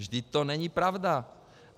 Vždyť to není pravda.